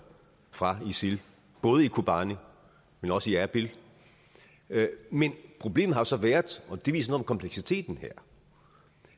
fra isil både i kobani men også i erbil men problemet har jo så været og det viser noget om kompleksiteten her